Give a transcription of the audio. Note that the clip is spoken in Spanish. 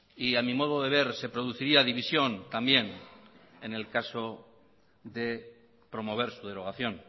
y a mi modo de ver se produciría división también en el caso de promover su derogación